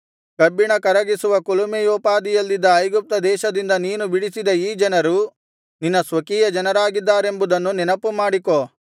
ಕಬ್ಬಿಣ ಕರಗಿಸುವ ಕುಲುಮೆಯೋಪಾದಿಯಲ್ಲಿದ್ದ ಐಗುಪ್ತ ದೇಶದಿಂದ ನೀನು ಬಿಡಿಸಿದ ಈ ಜನರು ನಿನ್ನ ಸ್ವಕೀಯ ಜನರಾಗಿದ್ದಾರೆಂಬುದನ್ನು ನೆನಪುಮಾಡಿಕೊ